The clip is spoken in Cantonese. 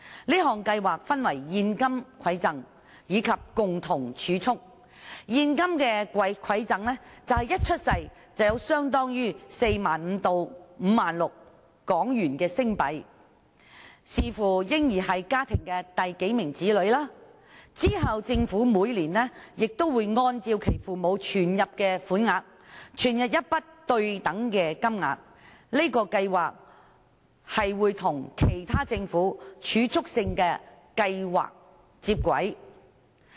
這項計劃分為現金饋贈和共同儲蓄，現金饋贈便是嬰兒一出生便獲發相當於 45,000 港元至 56,000 港元款項，視乎嬰兒是家中第幾名子女，之後政府每年會根據父母存入的款額，注入對等金額，這個計劃並且會與政府其他儲蓄性計劃接軌。